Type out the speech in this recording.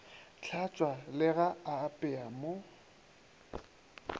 tlhatšwa le ga apeya mo